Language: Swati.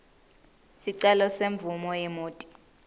sicelo semvumo yemoti